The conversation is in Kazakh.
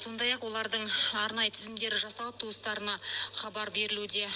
сондай ақ олардың арнайы тізімдері жасалып туыстарына хабар берілуде